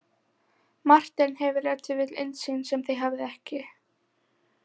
Marteinn hefur ef til vill innsýn sem þið hafið ekki.